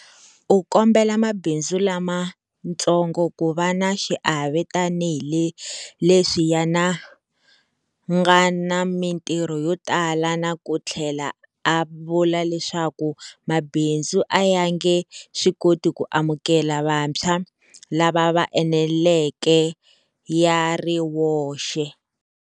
U kombele mabindzu lamatsongo ku va na xiave tanihi leswi ya na nga na mitirho yo tala na ku tlhela a vula leswaku mabindzu a ya nge swi koti ku amukela vantshwa lava va eneleke ya ri woxe.